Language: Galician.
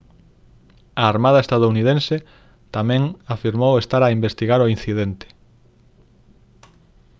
a armada estadounidense tamén afirmou estar a investigar o incidente